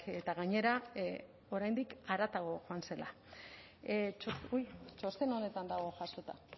eta gainera oraindik haratago joan zela txosten honetan dago jasota